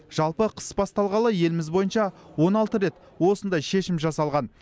жалпы қыс басталғалы еліміз бойынша он алты рет осындай шешім жасалған